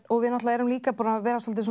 og við náttúrulega erum líka búin að vera svolítið